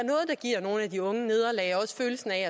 giver nogle af de unge et nederlag og også følelsen af